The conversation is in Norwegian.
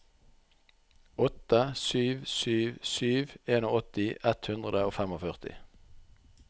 åtte sju sju sju åttien ett hundre og førtifem